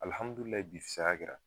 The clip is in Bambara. Alihamudulilayi bi fisaya kɛra